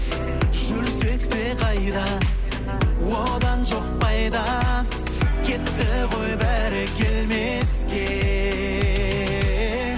жүрсек те қайда одан жоқ пайда кетті ғой бәрі келмеске